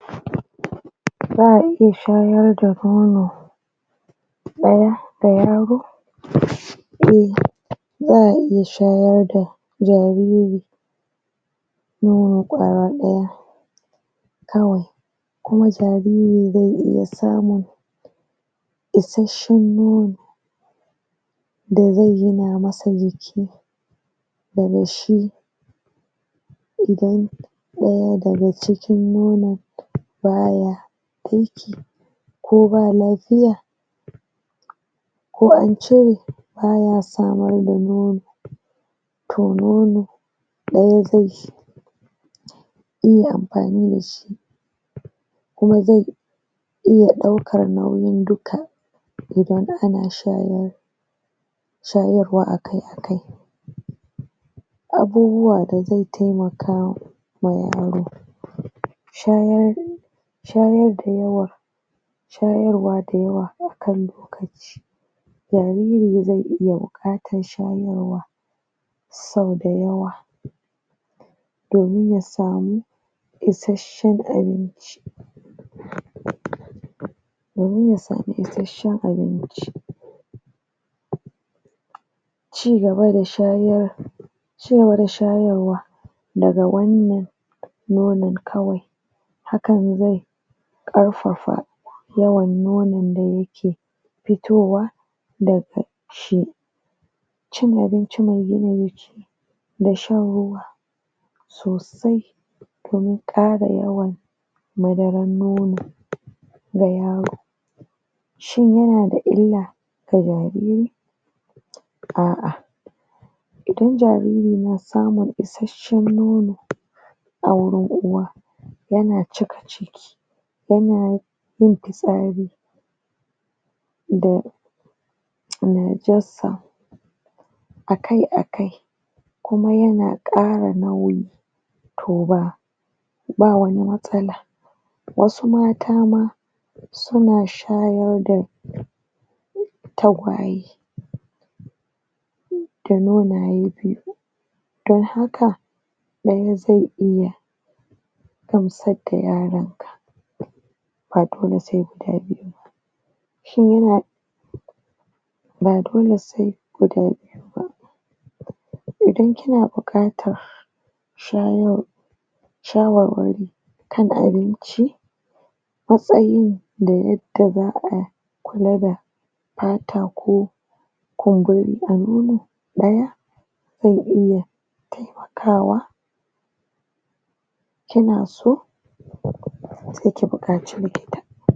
Za'a iya shayar da nono ɗaya da yaro za'a iya shayar da jariri kawai, kuma jariri zai iya samun issashen nono da zai gina masa jiki daga shi, idan ɗaya daga cikin nono baya aiki ko ba lapiya ko an cire, baya samun yin ampani da shi kuma zai iya ɗaukan nauyin dukka idan ana sha shayarwa akai akai abubuwa da zai taimaka wa yaro shayar da yawa shayarwa da yawa jariri yana buƙatar shayarwa sau da yawa domin ya samu isashen abinci domin ya samu isashen abinci cigaba da shayarwa daga wani mai nonon kawai, hakan zai ƙarfafa yawan nonon da yake fitowa daga ciki cin abinci mai gina jiki da shan ruwa sosai na ƙara yawan madarar nono ga yaro, shi illa ga jariri a'a idan jariri ya samu isashen nono a wurin uwa yakan cika ciki yanna yin pitsari da akai akai, kuma yana ƙara nauyin ba wani matsala wasu mata ma suna shayarda tagwaye don haka, wani zai iya shan nono ba dole sai guda biyu ba idan kina buƙatar shawarwari kan abinci da yadda za'a kula da pata ko zai iya taimakawa kina so sai ki buƙaci likita.